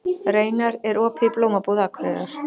Reynar, er opið í Blómabúð Akureyrar?